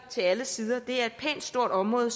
til alle sider det er et pænt stort område